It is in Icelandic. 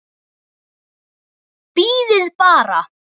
Bíðið bara.